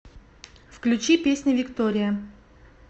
включи песня виктория